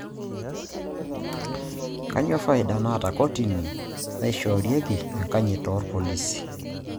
Kanyio faida naata kotini naishoorieki enkanyit oorpolisi?